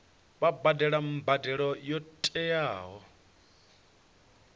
vha badele mbadelo yo tiwaho